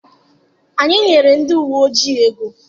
Anyị nyere ndị uwe ojii ego.